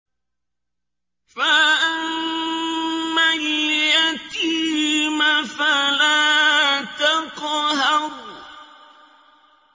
فَأَمَّا الْيَتِيمَ فَلَا تَقْهَرْ